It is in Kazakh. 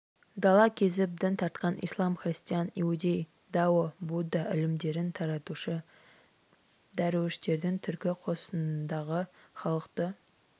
дала кезіп дін тартқан ислам христиан иудей дао будда ілімдерін таратушы дәруіштердің түркі қосынындағы халықты